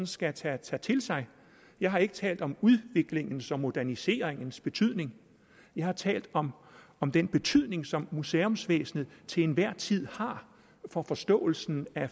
skal tage til sig jeg har ikke talt om udviklingens og moderniseringens betydning jeg har talt om om den betydning som museumsvæsenet til enhver tid har for forståelsen af